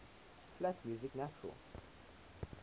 flat music natural